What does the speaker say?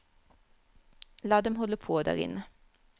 La dem holde på der inne.